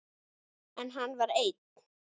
En hann var einn.